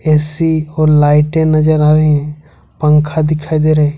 AC और लाइटें नजर आ रहे हैं पंखा दिखाई दे रहे।